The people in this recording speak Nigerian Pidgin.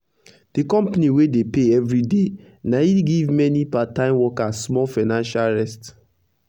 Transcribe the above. d company wey dey pay everiday na e give mani part time workers small financial rest